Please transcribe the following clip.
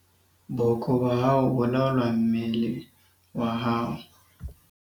booko ba hao bo laola mmele wa hao